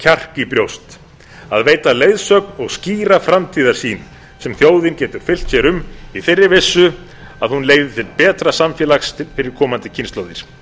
kjark í brjóst að veita leiðsögn og skýra framtíðarsýn sem þjóðin geti fylgt sér um í þeirri vissu að hún leiði til betra samfélags fyrir komandi kynslóðir